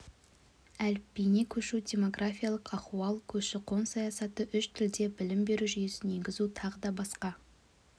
әліпбиіне көшу демографиялық ахуал көші-қон саясаты үш тілде білім беру жүйесін енгізу тағы да басқа